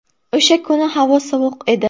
O‘sha kuni havo sovuq edi.